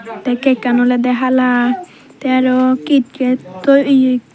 tay cack kan oloday hala tay arow kitkat toi eaye.